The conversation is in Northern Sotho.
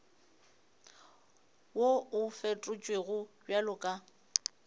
wo o fetotšwego bjalo ka